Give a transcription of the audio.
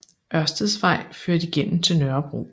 Ørsteds Vej ført igennem til Nørrebro